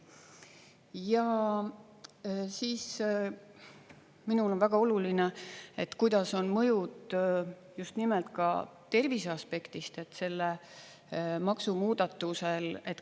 Ja minul on väga oluline, kuidas on mõjud just nimelt ka tervise aspektist selle maksumuudatusel.